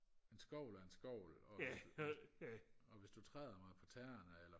en skovl er en skovl og hvis du og hvis du træder mig på tæerne eller